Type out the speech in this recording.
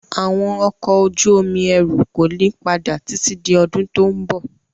Àwọn ọkọ̀ ojú omi ẹrù kò ní padà títí di ọdún tó ń bọ̀.